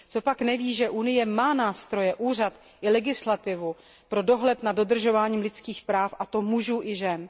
Copak neví, že Unie má nástroje, úřad i legislativu pro dohled nad dodržováním lidských práv, a to mužů i žen?